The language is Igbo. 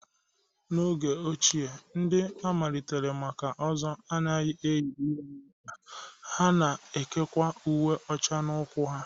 N'oge ochie, ndị a malitere maka Ozo anaghị eyi ihe na okpa, ha na-ekekwa uwe ọcha n'ụkwụ ha